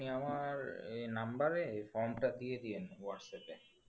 আপনি আমার এই number এ এই form টা দিয়ে দিন whatsapp এ